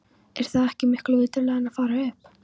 Er það ekki miklu viturlegra en að fara upp?